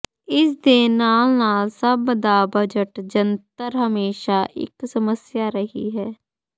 ਇਸ ਦੇ ਨਾਲ ਨਾਲ ਸਭ ਦਾ ਬਜਟ ਜੰਤਰ ਹਮੇਸ਼ਾ ਇੱਕ ਸਮੱਸਿਆ ਰਹੀ ਹੈ